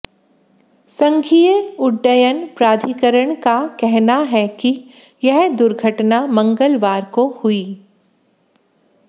संघीय उड्डयन प्राधिकरण का कहना है कि यह दुर्घटना मंगलवार को हुई